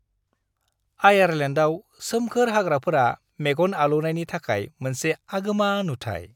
आयारलेन्डआव सोमखोर हाग्राफोरा मेगन आलौनायनि थाखाय मोनसे आगोमा नुथाय।